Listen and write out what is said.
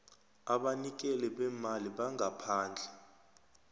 abanikeli beemali bangaphandle